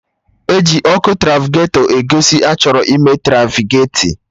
E ji Ọkụ trafiketọ egosi na-achọrọ ịme trafiketi